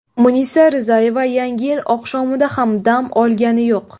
Munisa Rizayeva Yangi yil oqshomida ham dam olgani yo‘q.